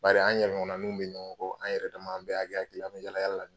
Bari an yɛrɛ ɲɔgɔnnaninw bɛ ɲɔgɔn kɔ an yɛrɛdama an bɛɛ hakɛ ye kelen ye an bɛ yaala yaala la